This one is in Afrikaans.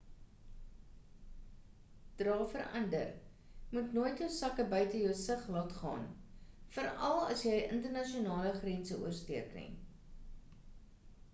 dra vir ander moet nooit jou sakke buite jou sig laat gaan veral as jy internasionale grense oorsteek nie